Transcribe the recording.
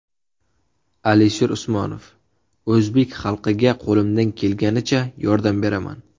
Alisher Usmonov: O‘zbek xalqiga qo‘limdan kelganicha yordam beraman.